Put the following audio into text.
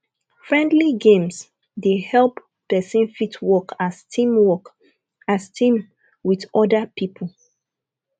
friendly games dey help person fit work as team work as team with oda pipo